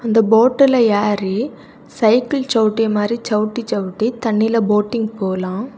இந்த போட்டுல ஏறி சைக்கிள் சவுட்டி மாறி சவுட்டி சவுட்டி தண்ணில போட்டிங் போலாம்.